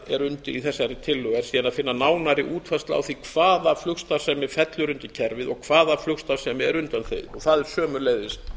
er undir í þessari tillögu er síðan að finna nánari útfærslu á því hvaða flugstarfsemi fellur undir kerfið og hvaða flugstarfsemi er undanþegin það er sömuleiðis